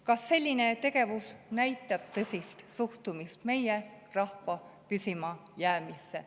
Kas selline tegevus näitab tõsist suhtumist meie rahva püsimajäämisse?